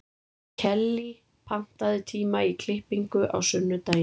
Kellý, pantaðu tíma í klippingu á sunnudaginn.